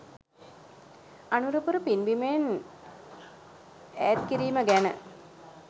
අනුරපුර පින් බිමෙන් ඈත් කිරීම ගැන